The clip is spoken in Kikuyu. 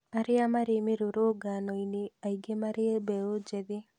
Arĩa marĩ mĩrũrũngano-inĩ aingĩ marĩ mbeũ njĩthĩ